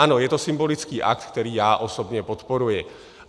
Ano, je to symbolický akt, který já osobně podporuji.